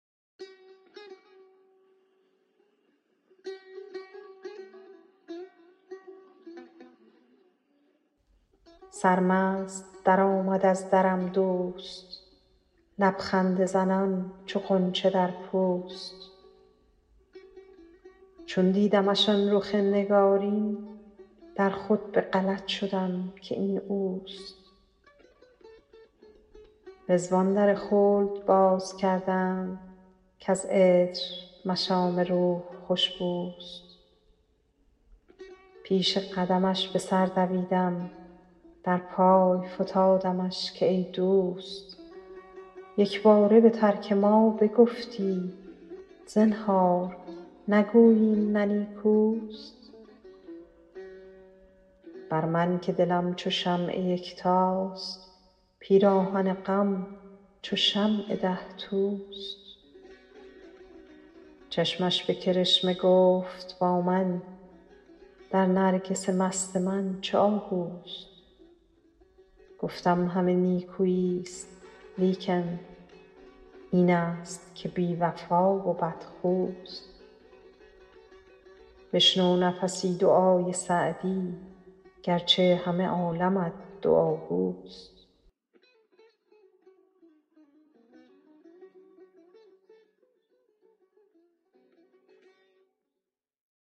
سرمست درآمد از درم دوست لب خنده زنان چو غنچه در پوست چون دیدمش آن رخ نگارین در خود به غلط شدم که این اوست رضوان در خلد باز کردند کز عطر مشام روح خوش بوست پیش قدمش به سر دویدم در پای فتادمش که ای دوست یک باره به ترک ما بگفتی زنهار نگویی این نه نیکوست بر من که دلم چو شمع یکتاست پیراهن غم چو شمع ده توست چشمش به کرشمه گفت با من در نرگس مست من چه آهوست گفتم همه نیکویی ست لیکن این است که بی وفا و بدخوست بشنو نفسی دعای سعدی گر چه همه عالمت دعاگوست